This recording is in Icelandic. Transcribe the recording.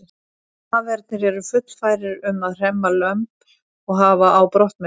Hafernir eru fullfærir um að hremma lömb og hafa á brott með sér.